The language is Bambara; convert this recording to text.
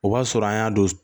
O b'a sɔrɔ an y'a don